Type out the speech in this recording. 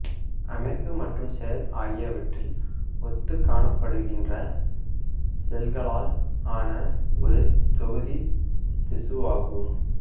அமைப்பு மற்றும் செயல் ஆகியவற்றில் ஒத்துக் காணப்படுகின்ற செல்களால் ஆன ஒரு தொகுதி திசுவாகும்